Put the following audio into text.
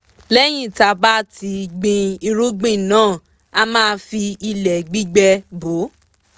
lẹ́yìn tá bá ti gbin irúgbìn náà a máa fi ilẹ̀ gbígbẹ bò